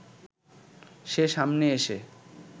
সে সামনে এসে